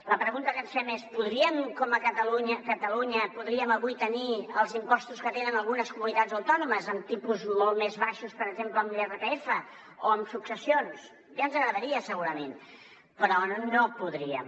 la pregunta que ens fem és a catalunya podríem avui tenir els impostos que tenen algunes comunitats autònomes amb tipus molt més baixos per exemple en l’irpf o en successions ja ens agradaria segurament però no podríem